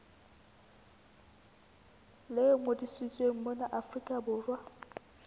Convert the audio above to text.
le ngodisitsweng mona afrika borwa